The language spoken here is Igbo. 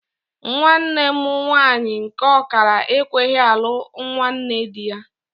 Nwanne mụ nwaanyị nke ọkara ekweghị alụ nwanne dị ya.